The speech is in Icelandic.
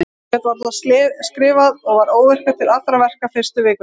Ég gat varla skrifað og var óvirkur til allra verka fyrstu vikuna.